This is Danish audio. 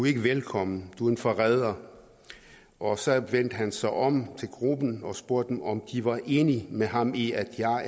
ikke velkommen du er en forræder og så vendte han sig om til gruppen og spurgte dem om de var enige med ham i at jeg var